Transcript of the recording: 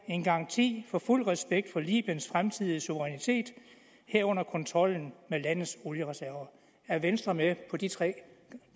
en garanti for fuld respekt for libyens fremtidige suverænitet herunder kontrollen med landets oliereserver er venstre med på de tre